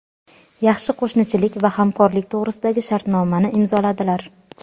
yaxshi qo‘shnichilik va hamkorlik to‘g‘risidagi shartnomani imzoladilar.